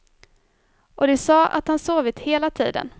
Och de sa att han sovit hela tiden.